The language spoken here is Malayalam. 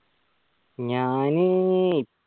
ഞാന്